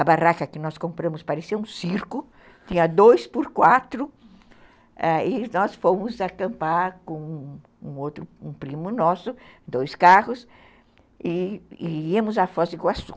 A barraca que nós compramos parecia um circo, tinha dois por quatro, e nós fomos acampar com um outro, um primo nosso, dois carros, e íamos a Foz do Iguaçu.